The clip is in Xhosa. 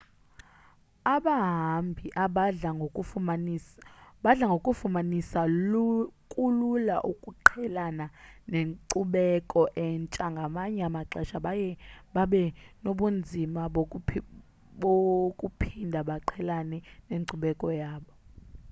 abahambi abadla ngokufumanisa kulula ukuqhelana nenkcubeko entsha ngamanye amaxesha baye babe nobunzima bokuphinda baqhelane nenkcubeko yabo